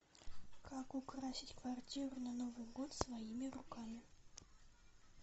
как украсить квартиру на новый год своими руками